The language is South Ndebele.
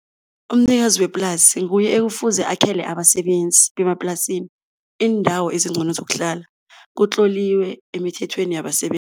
Umnikazi weplasi nguye ekufuze akhele abasebenzi bemaplasini iindawo ezincono zokuhlala kutloliwe emithethweni